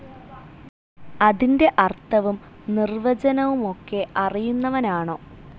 അതിന്റെ അർഥവും നിർവചനവുമൊക്കെ അറിയുന്നവനാണോ?